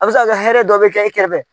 A bɛ se ka kɛ hɛrɛ dɔ bɛ kɛ i kɛrɛfɛ.